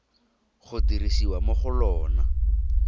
go dirisiwa mo go lona